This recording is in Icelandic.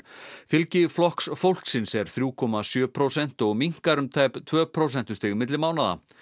fylgi Flokks fólksins er þriggja komma sjö prósent og minnkar um tæp tvö prósentustig milli mánaða